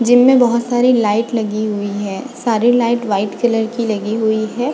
Gym में बहुत सारी लाइट लगी हुई है सारी लाइट व्हाइट कलर की लगी हुई है।